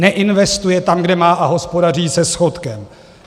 Neinvestuje tam, kde má, a hospodaří se schodkem.